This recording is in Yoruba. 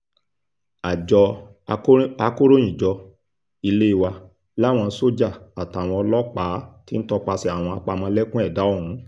àjọ akọ̀ròyìnjọ ilé wa làwọn sójà àtàwọn ọlọ́pàá ti ń tọpasẹ̀ àwọn apámọ́lẹ́kùn ẹ̀dà ọ̀hún